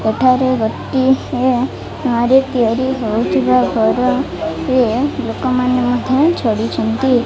ଏଠାରେ ଗୋଟି ହେ ତିଆରି ହଉଥିବା ଘର ଟିଏ ଲୋକମାନେ ମଧ୍ୟ ଛନ୍ତି।